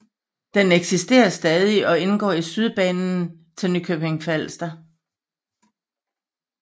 Den eksisterer stadig og indgår i Sydbanen til Nykøbing Falster